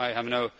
I have no